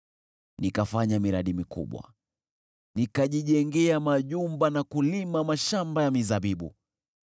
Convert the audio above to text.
Nikafanya miradi mikubwa: Nikajijengea majumba na kulima mashamba ya mizabibu.